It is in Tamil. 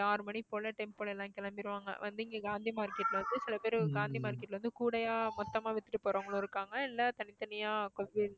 ஆறு மணி போல tempo ல எல்லாம் கிளம்பிருவாங்க வந்து இங்க காந்தி market ல வந்து சில பேர் காந்தி market ல வந்து கூடையா மொத்தமா வித்துட்டு போறவங்களும் இருக்காங்க இல்ல தனித்தனியா